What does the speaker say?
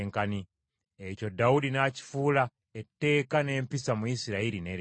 Ekyo Dawudi n’akifuula etteeka n’empisa mu Isirayiri ne leero.